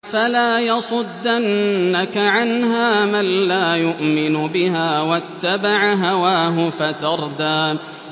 فَلَا يَصُدَّنَّكَ عَنْهَا مَن لَّا يُؤْمِنُ بِهَا وَاتَّبَعَ هَوَاهُ فَتَرْدَىٰ